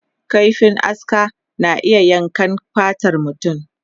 Kaifin aska na iya yankan fatar mutum.